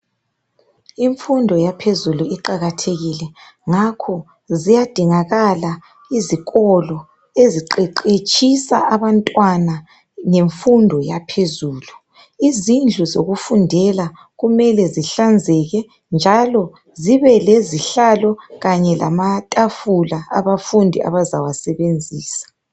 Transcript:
Imfundo yaphezulu iqakathekile ngakho kuqakathekile ezikolweni ezifundisa imfundo yaphezulu. Izindlu zokufundela mele zihlanzele zibe lezihlalo kanye lamatafula izifundi ezizawasebenzisa.